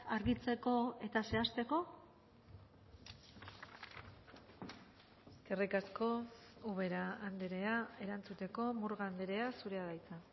argitzeko eta zehazteko eskerrik asko ubera andrea erantzuteko murga andrea zurea da hitza